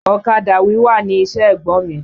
Ọ̀kadà wíwà ni iṣẹ́ ẹ̀gbọ́n mi.